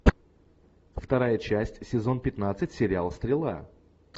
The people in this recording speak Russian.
вторая часть сезон пятнадцать сериал стрела